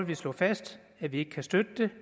vi slå fast at vi ikke kan støtte det